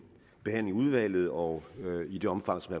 behandling i udvalget og i det omfang som